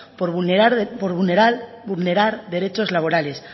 por vulnerar derechos laborales